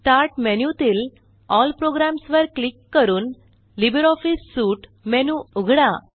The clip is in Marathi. स्टार्ट मेनूतील एल प्रोग्राम्स वर क्लिक करून लिब्रिऑफिस सूट मेनू उघडा